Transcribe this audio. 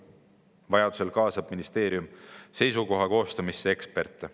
Vajaduse korral kaasab ministeerium seisukoha koostamisse eksperte.